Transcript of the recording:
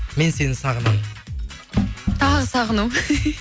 мен сен сағынамын тағы сағынамын